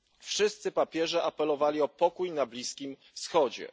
Wszyscy papieże apelowali o pokój na Bliskim Wschodzie.